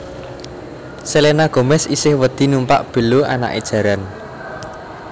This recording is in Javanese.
Selena Gomez isih wedi numpak belo anake jaran